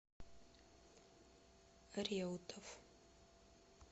реутов